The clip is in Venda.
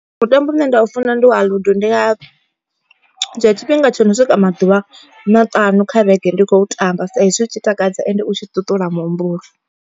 Mutambo une nda u funa ndi wa Ludo ndi nga dzhia tshifhinga tsho no swika maḓuvha maṱanu kha vhege ndi khou tamba. Saizwi u tshi takadza ende u tshi ṱuṱula muhumbulo.